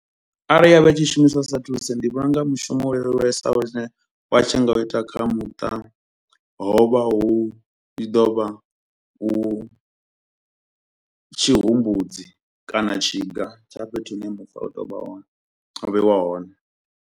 Arali ya vha i tshi shumiswa sa thulusi, ndi vhona unga mushumo u leluwesaho tshine wa tshi nga u ita kha muṱa, ho vha hu i ḓo vha hu tshihumbudzi kana tshiga tsha fhethu hune vha hone, vheiwa hone.